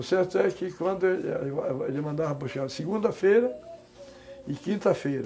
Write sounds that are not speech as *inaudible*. O certo é que quando ele *unintelligible* mandava buscar, segunda-feira e quinta-feira.